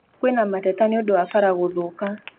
Kwĩna mateta nĩũndũ wa bara gũthũka